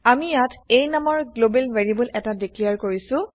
আমি ইয়াত a নামৰ গ্লোবেল ভেৰিয়েবল এটা ডিক্লেৰ কৰিছো